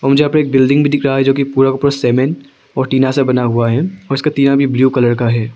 औ मुझे यहां पे एक बिल्डिंग भी दिख रहा है जो कि पूरा का पूरा सीमेंट और टीना से बना हुआ है और इसका टीना भी ब्लू कलर का है।